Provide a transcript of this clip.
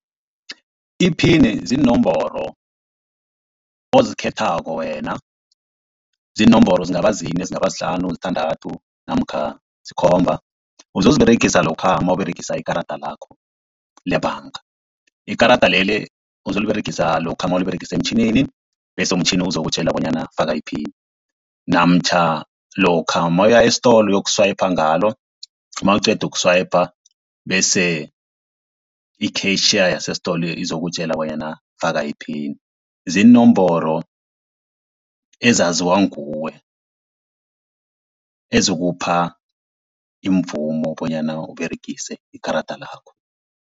Iphini ziinomboro ozikhethako wena, ziinomboro zingaba zine, zingaba zihlanu, zithandathu namkha zikhomba, uzoziberegisa lokha nawUberegisa ikarada lakho lebhanga. Ikarada leli uzoliberegisa lokha nawuliberegisa emtjhinini bese umtjhini ozokutjela bonyana faka iphini, namtjhana lokha nawuya estolo uyoku-swiper ngalo nawuqeda uku-swiper bese i-cashier yasestolo izokutjela bonyana faka iphini. Ziinomboro ezaziwa nguwe, ezikupha imvumo bonyana Uberegise ikarada lakho.